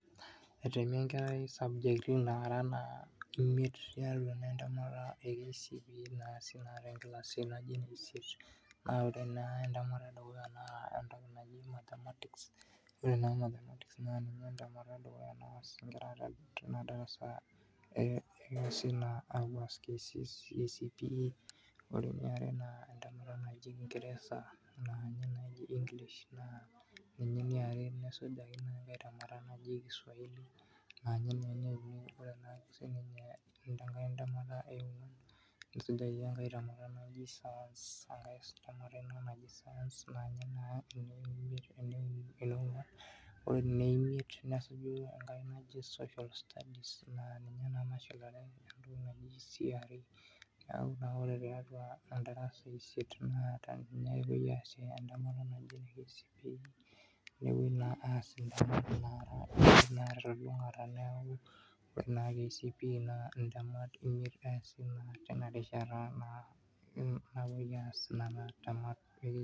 etemi enkarai sabjekti naraa naa imiet tiatua naa entemata ee KCPE naasi naa tenkilasi naaji ene isiet aa ore naa entemata ee dukuya naa entoki naji mathematics ore naa mathematics ninye entemata edukuyaa naas naa inkera tina darasa ee epuas KCPE ore eniare entemata najii kingereza naa ninye naa eji english ninye eniare nesujaki naa enkai temata naji kiswahili aa ninye naa eneuni oree naa sininyeunkai temata nesujaki enkai temata naaji science enkaii temata naaji science naa ninye naa eneongwan ore ene imiet nesuju enkai naji social studies naa ninye naa nashulare entoki naaji CRE neeku naa ore tendarasa esiet nepoi aas entemata naaji ene KCPE nepoii naa aas telulungata neeku oree naa KCPE naa intemat imiet eesi tina rishata naa napoi aas nena temat